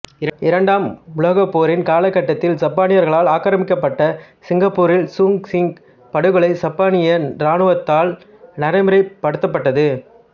இரண்டாம் உலகப் போரின் காலகட்டத்தில் சப்பானியர்களால் ஆக்கிரமிக்கப்பட்ட சிங்கப்பூரில் சூக் சிங்க் படுகொலை சப்பானிய ராணுவத்தால் நடைமுறைப்படுத்தப்பட்டது